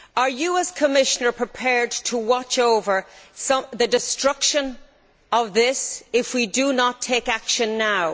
Are you, as Commissioner, prepared to watch over the destruction of this if we do not take action now?